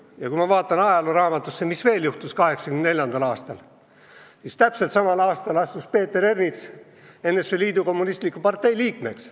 Ja kui ma vaatan ajalooraamatusse, mis veel juhtus 1984. aastal, siis täpselt samal aastal astus Peeter Ernits NSV Liidu Kommunistliku Partei liikmeks.